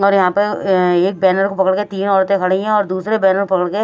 और यहाँ पे एक बैनर को पकड़ के तीन औरतें खड़ी हैं और दूसरे बैनर को पकड़ के --